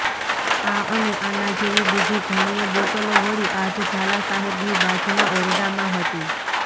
આ અને આના જેવી બીજી ઘણીય બોટલો વળી આજ ઝાલા સાહેબની બાજુના ઓરડામાં હતી